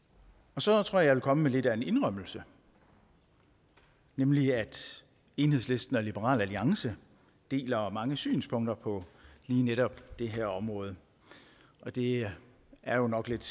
så tror jeg vil komme med lidt af en indrømmelse nemlig at enhedslisten og liberal alliance deler mange synspunkter på lige netop det her område det er jo nok lidt